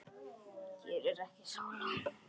Hér er ekki sála.